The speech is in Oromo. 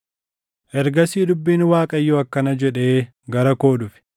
Ergasii dubbiin Waaqayyoo akkana jedhee gara koo dhufe: